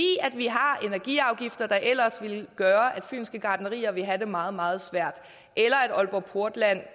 vi har energiafgifter der ellers ville gøre at fynske gartnerier ville have det meget meget svært eller at aalborg portland